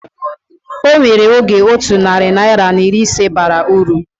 Onwere oge otu narị naira na iri ise bara uru